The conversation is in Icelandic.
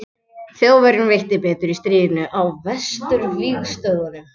þjóðverjum veitti betur í stríðinu á vesturvígstöðvunum